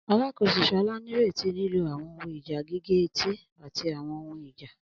Alakoso Shola nireti lilo awọn ohun ija gige-eti ati awọn ohun ija.